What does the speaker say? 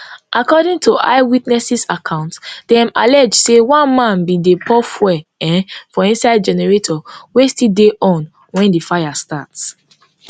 according to eyewitness accounts dem allege say one man bin dey pour fuel um for inside generator wey still dey on wen di fire start